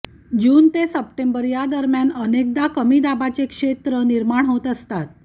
जून ते सप्टेंबर या दरम्यान अनेकदा कमी दाबाचे क्षेत्र निर्माण होत असतात